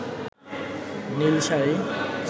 Neil sari